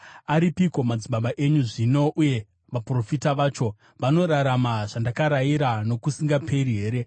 Aripiko madzibaba enyu zvino? Uye vaprofita vacho, vanorarama zvandakarayira nokusingaperi here?